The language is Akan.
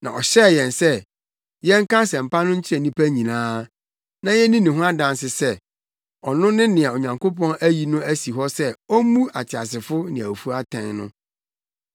Na ɔhyɛɛ yɛn sɛ, yɛnka asɛmpa no nkyerɛ nnipa nyinaa, na yenni ne ho adanse sɛ, ɔno ne nea Onyankopɔn ayi no asi hɔ sɛ ommu ateasefo ne awufo atɛn no.